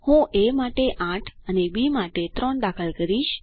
હું એ માટે 8 અને બી માટે 3 દાખલ કરીશ